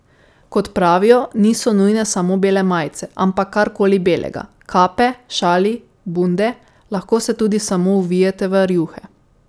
Kot pravijo, niso nujne samo bele majice, ampak kar koli belega, kape, šali, bunde, lahko se tudi samo ovijete v rjuhe.